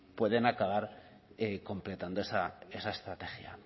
pueden acabar completando esa estrategia